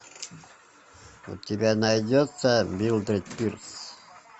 у тебя найдется милдред пирс